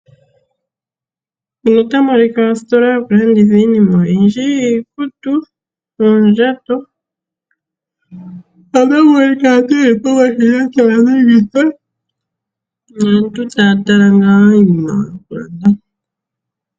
Ositola yokulanditha iinima oyindji; iikutu, oondjato notamu minka aantu ye li pomashina taya dhenitha naantu taya tala ngaa iinima yokulanda.